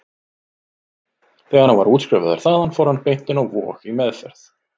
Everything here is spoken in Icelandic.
Þegar hann var útskrifaður þaðan fór hann beint inn á Vog, í meðferð.